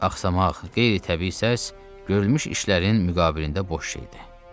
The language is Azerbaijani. Axsaqmaq, qeyri-təbii səs, görülmüş işlərin müqabilində boş şeydir.